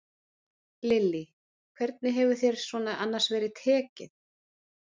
Lillý: Hvernig hefur þér svona annars verið tekið?